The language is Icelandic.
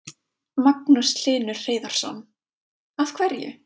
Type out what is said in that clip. Magnús Hlynur Hreiðarsson: Af hverju?